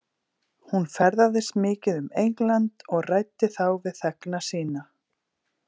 Hún ferðaðist mikið um England og ræddi þá við þegna sína.